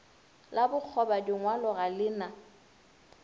la bokgobadingwalo ga le na